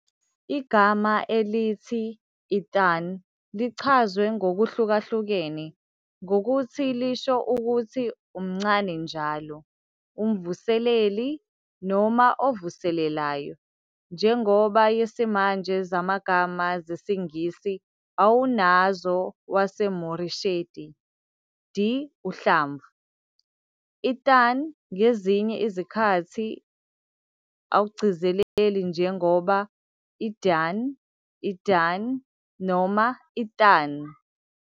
Igama elithi "Iðunn" lichazwe ngokuhlukahlukene ngokuthi lisho ukuthi "umncane njalo", "umvuseleli", noma "ovuselelayo". Njengoba yesimanje zamagama zesiNgisi awunazo waseMoresheti, d, uhlamvu, "Iðunn" ngezinye izikhathi anglicized njengoba Idun, Idunn noma Ithun.